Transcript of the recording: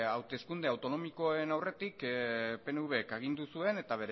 hauteskunde autonomikoen aurretik pnvk agindu zuen eta